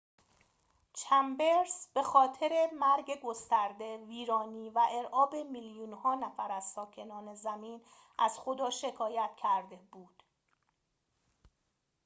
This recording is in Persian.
چمبرس به خاطر مرگ گسترده ویرانی و ارعاب میلیون ها نفر از ساکنان زمین از خدا شکایت کرده بود